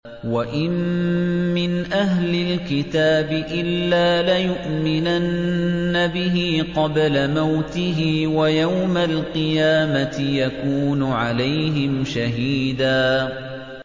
وَإِن مِّنْ أَهْلِ الْكِتَابِ إِلَّا لَيُؤْمِنَنَّ بِهِ قَبْلَ مَوْتِهِ ۖ وَيَوْمَ الْقِيَامَةِ يَكُونُ عَلَيْهِمْ شَهِيدًا